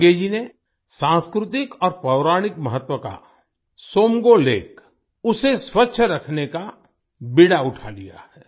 संगे जी ने सांस्कृतिक और पौराणिक महत्व का त्सोमगो सोमगो लेक को स्वच्छ रखने का बीड़ा उठा लिया है